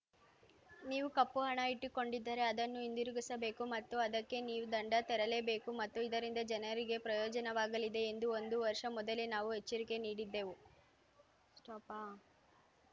ನೀವು ಕಪ್ಪು ಹಣ ಇಟ್ಟುಕೊಂಡಿದ್ದರೆ ಅದನ್ನು ಹಿಂದಿರುಗಿಸಬೇಕು ಮತ್ತು ಅದಕ್ಕೆ ನೀವು ದಂಡ ತೆರಲೇ ಬೇಕು ಮತ್ತು ಇದರಿಂದ ಜನರಿಗೆ ಪ್ರಯೋಜನವಾಗಲಿದೆ ಎಂದು ಒಂದು ವರ್ಷ ಮೊದಲೇ ನಾವು ಎಚ್ಚರಿಕೆ ನೀಡಿದ್ದೆವು